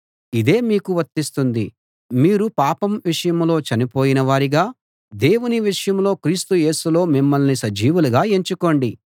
ఇదే మీకూ వర్తిస్తుంది మీరు పాపం విషయంలో చనిపోయిన వారిగా దేవుని విషయంలో క్రీస్తు యేసులో మిమ్మల్ని సజీవులుగా ఎంచుకోండి